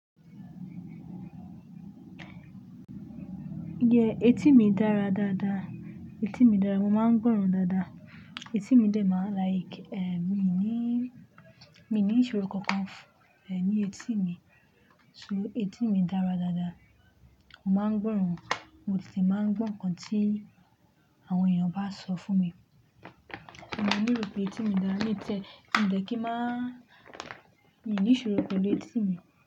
Etí mi dára dáadáa. Etí mi dára, mo máa ń gbọ́ràn dáadáa. Etí mi dẹ́ máa, mi ní, mi ní ìṣòro kankan, ní etí mi. So etí mi dára dáadáa. Mo máa ń gbọ́ràn, mo sì ti máa ń gbọ́ nǹkan tí àwọn èèyàn bá sọ fún mi. Mo máa ń rò pé etí mi dára ní tẹ́. Kíni dé kí máa, mi ní ìṣòro kankan lé etí mi?